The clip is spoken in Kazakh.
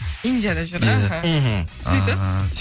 индияда жүр іхі мхм сөйтіп